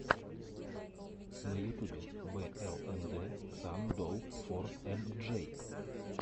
на ютубе блнд сан долл фор эм джей